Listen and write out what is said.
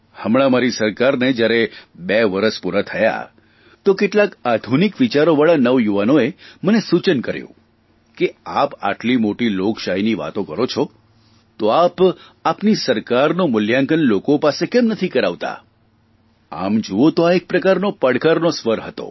હમણાં મારી સરકારને બે વરસ પૂરાં થયાં તો કેટલાક આધુનિક વિચારોવાળા નવયુવાનોએ મને સૂચન કર્યું કે આપ આટલી મોટી લોકશાહીની વાતો કરો છો તો આપ આપની સરકારનું મૂલ્યાંકન લોકો પાસે કેમ નથી કરાવતા આમ જૂઓ તો આ એક પ્રકારનો પડકારનો સ્વર હતો